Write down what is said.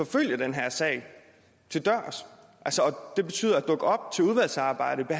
følge den her sag til dørs det betyder at dukke op til udvalgsarbejdet til